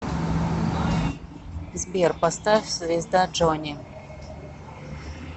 сбер поставь звезда джони